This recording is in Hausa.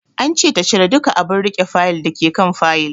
An ce ta cire duka abun riƙe Fayil dake kan Fayil